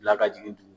Bila ka jigin